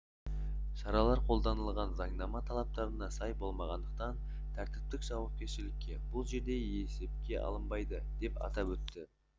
шаралар қолданылған заңнама талаптарына сай болмағандықтан тәртіптік жауапкершілік бұл жерде еспке алынбайды деп атап өтті